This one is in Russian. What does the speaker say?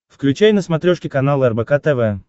включай на смотрешке канал рбк тв